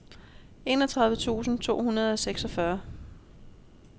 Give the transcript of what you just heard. enogtredive tusind to hundrede og seksogfyrre